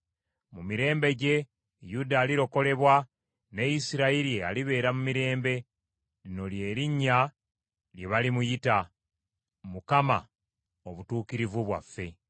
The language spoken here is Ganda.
Mu mirembe gye, Yuda alirokolebwa ne Isirayiri alibeera mu mirembe. Lino lye linnya lye balimuyita: Mukama Obutukuvu Bwaffe.